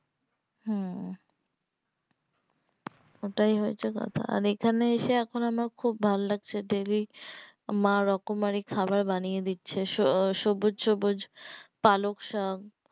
হম ওটাই হয়েছে কথা আর এখানে এসে এখন আমার খুব ভাল্লাগছে daily মা রকমারি খাবার বানিয়ে দিচ্ছে সো সবুজ সবুজ পালংশাক